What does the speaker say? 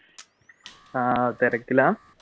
ആഹ് തിരക്കിലാ?